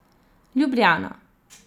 Ljubljana.